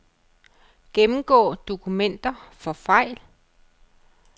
Gennemgå dokumenter for fejl.